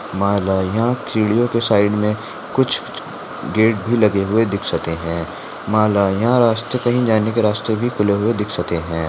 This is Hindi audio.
माला यहा सीडीयोंके साईड में कुछ गेट भी लगे हुए दिख सकते है रास्ते कही जाने के रास्ते खुले भी दिख सकते है।